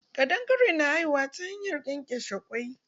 Ƙadangare na haihuwa ta hanyar ƙenƙeshe kwai.